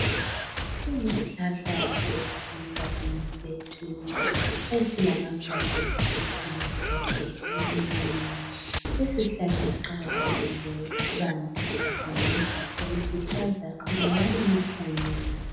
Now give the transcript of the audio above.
Kulesihlahla esigabeni sethu esilamalaluba amanengi amhlophe amancane. Lesi sihlahla siqakathekile bantu zakhamizi qhubekani lisihlanyela.